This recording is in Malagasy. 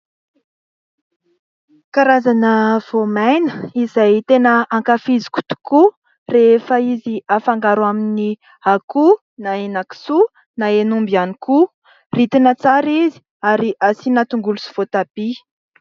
Karazana voamaina izay tena hankafiziko tokoa rehefa izy hafangaro amin'ny akoho na henakisoa na henomby ihany koa. Ritina tsara izy ary asiana tongolo sy voatabia.